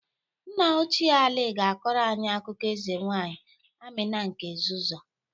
Nna ochie Ali ga-akọrọ anyị akụkọ eze nwaanyị Amina nke Zazzụa.